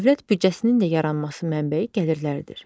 Dövlət büdcəsinin də yaranması mənbəyi gəlirlərdir.